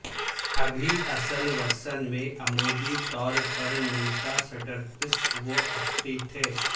ابھی اصل ورژن میں عمودی طور پر نمٹا سٹرپس وہ افقی تھے